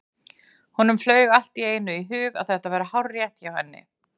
Honum flaug allt í einu í hug að þetta væri hárrétt hjá henni.